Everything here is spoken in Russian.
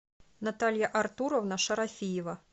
наталья артуровна шарафиева